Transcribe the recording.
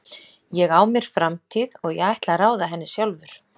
Ég á mér framtíð og ég ætla að ráða henni sjálfur.